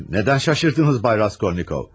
Neden şaşırdınız Bay Raskolnikov?